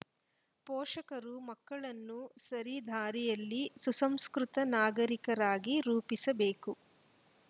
ಪೋಷಕರು ಮಕ್ಕಳನ್ನು ಸರಿದಾರಿಯಲ್ಲಿ ಸುಸಂಸ್ಕೃತ ನಾಗರಿಕರಾಗಿ ರೂಪಿಸಬೇಕು